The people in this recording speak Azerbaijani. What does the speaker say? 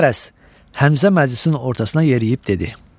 Qərəz, Həmzə məclisin ortasına yeriyib dedi: